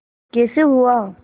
कैसे हुआ